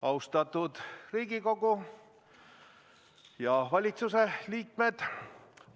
Austatud Riigikogu ja valitsuse liikmed!